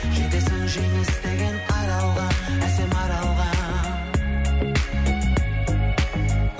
жетесің жеңіс деген аралға әсем аралға